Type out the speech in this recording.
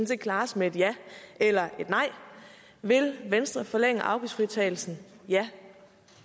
set klares med et ja eller et nej vil venstre forlænge afgiftsfritagelsen ja